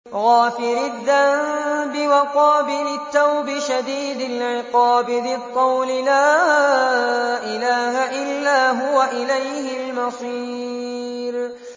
غَافِرِ الذَّنبِ وَقَابِلِ التَّوْبِ شَدِيدِ الْعِقَابِ ذِي الطَّوْلِ ۖ لَا إِلَٰهَ إِلَّا هُوَ ۖ إِلَيْهِ الْمَصِيرُ